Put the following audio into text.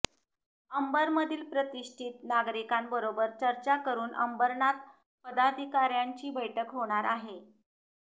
अंबरमधील प्रतिष्ठित नागरिकांबरोबर चर्चा करून अंबरनाथ पदाधिकाऱ्यांची बैठक होणार आहे